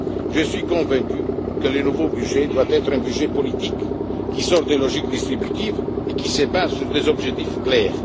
Je suis convaincu que le nouveau budget doit être un budget politique, qui sort des logiques distributives et qui se base sur des objectifs clairs.